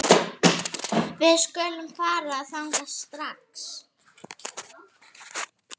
Við skulum fara þangað strax